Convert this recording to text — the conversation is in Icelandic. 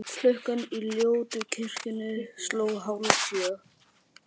Klukkan í ljótu kirkjunni sló hálfsjö.